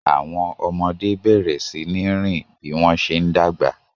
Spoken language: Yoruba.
Àwọn ọmọdé bẹ̀rẹ̀ sí ní rìn bí wọ́n ṣe ń dàgbà